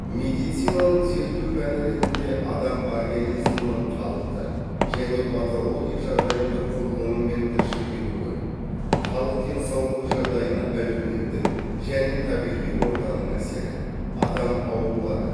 медицинаның зерттеу пәні ретінде адам организмінің қалыпты және патология жағдайында құрылымы мен тіршілік етуі халық денсаулығы жағдайына әлеуметтік және табиғи ортаның әсері адам аурулары